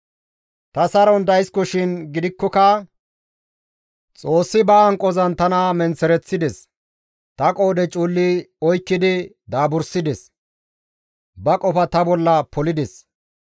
Ta saron daysikoshin gidikkoka Xoossi ba hanqozan tana menththereththides; ta qoodhe cuulli oykkidi daaburissides; ba qofa ta bolla polides.